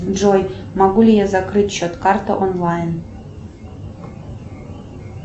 джой могу ли я закрыть счет карты онлайн